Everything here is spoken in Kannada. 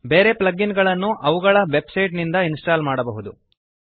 ಬೇರೆ ಪ್ಲಗ್ ಇನ್ ಗಳನ್ನು ಅವುಗಳ ವೆಬ್ಸೈಟ್ ನಿಂದ ಇನ್ಸ್ಟಾಲ್ ಮಾಡಬಹುದು